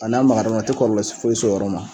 A n'a magar'o ra o ti kɔrɔlɔ foysi s'o yɔrɔ ma